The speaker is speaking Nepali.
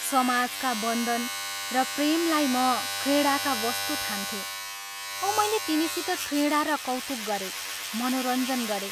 समाजका बन्धन र प्रेमलाई म क्रीडाका वस्तु ठान्थें औ मैले तिनीसित क्रीडा र कौतुक गरें, मनोरञ्जन गरें।